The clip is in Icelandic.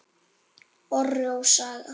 Orri og Saga.